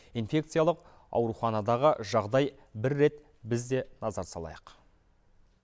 инфекциялық ауруханадағы жағдай бір рет біз де назар салайық